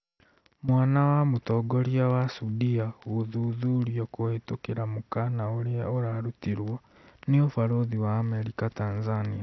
Mwana wa mũtongoria wa Sudia gũthuthurio kũhĩtũkĩra mũkana ũria ũrarutirwo nĩ ũbarũthi wa Amerika Tanzania